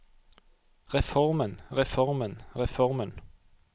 reformen reformen reformen